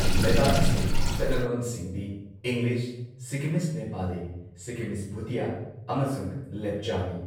ꯂꯩꯕꯥꯛ ꯑꯁꯤꯒꯤ ꯆꯠꯅꯂꯣꯟꯁꯤꯡꯗꯤ ꯏꯪꯂꯤꯁ, ꯁꯤꯛꯀꯤꯃꯤꯁ ꯅꯦꯄꯥꯂꯤ, ꯁꯤꯛꯀꯤꯃꯤꯁ ꯚꯨꯇꯤꯌꯥ ꯑꯃꯁꯨꯡ ꯂꯦꯞꯆꯥꯅꯤ꯫